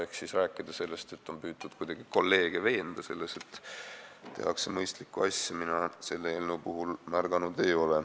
Ehk seda, et oleks püütud kuidagi kolleege veenda selles, et tehakse mõistlikku asja, mina selle eelnõu puhul märganud ei ole.